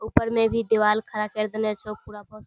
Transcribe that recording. ऊपर में भी दिवाल खड़ा केर देने छै पूरा --